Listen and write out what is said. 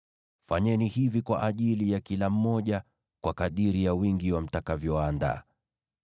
Fanyeni hivi kwa ajili ya kila mmoja, kwa kadiri ya wingi wa mtakavyoandaa.